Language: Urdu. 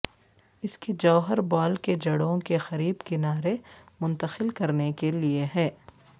اس کے جوہر بال کے جڑوں کے قریب کنارے منتقل کرنے کے لئے ہے